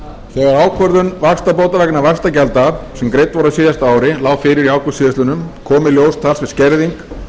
þegar ákvörðun vaxtabóta vegna vaxtagjalda sem greidd voru á síðasta ári lá fyrir í ágúst síðastliðnum kom í ljós talsverð skerðing